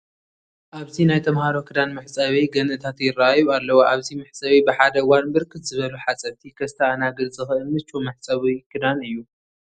ኣብዚ ናይ ተመሃሮ ክዳን መሕፀቢ ገንእታት ይርአዩ ኣለዉ፡፡ ኣብዚ መሕፀቢ ብሓደ እዋን ብርክት ዝበሉ ሓፀብቲ ከስተኣናግድ ዝኽእል ምቹው መሕፀቢ ክዳን እዩ፡፡